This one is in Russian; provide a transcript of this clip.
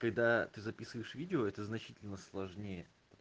когда ты записываешь видео это значительно сложнее